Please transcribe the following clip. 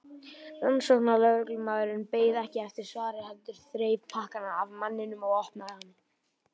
Rannsóknarlögreglumaðurinn beið ekki eftir svari heldur þreif pakkann af manninum og opnaði hann.